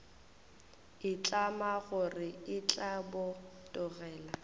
itlama gore e tla botegela